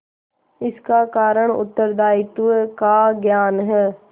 इसका कारण उत्तरदायित्व का ज्ञान है